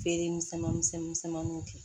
Feere misɛnman misɛn misɛnmanninw kɛ